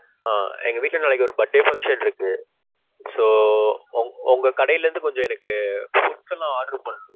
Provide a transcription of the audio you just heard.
ஆஹ் எங்க வீட்ல நாளைக்கு ஒரு birthday function இருக்கு. so உங்க கடைல இருந்து கொஞ்சம் எனக்கு foods எல்லாம் order பண்ணனும்.